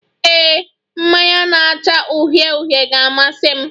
Ee, mmanya na-acha uhie uhie ga-amasị m.